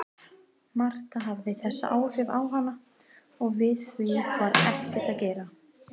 Marta hafði þessi áhrif á hana og við því var ekkert að gera.